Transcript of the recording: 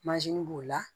b'o la